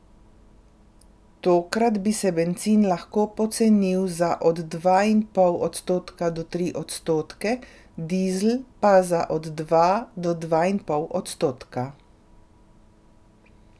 Tokrat bi se bencin lahko pocenil za od dva in pol odstotka do tri odstotke, dizel pa za od dva do dva in pol odstotka.